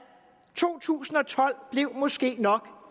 to tusind og tolv blev måske nok